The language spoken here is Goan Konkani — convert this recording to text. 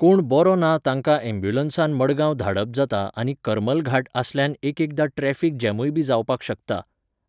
कोण बरो ना तांका ऍबुलन्सान मडगांव धाडप जाता आनी करमल घाट आसल्यान एकएकदा ट्रॅफीक जामुय बी जावपाक शकता.